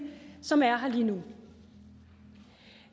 som er her lige nu